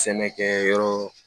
Sɛnɛkɛ yɔrɔ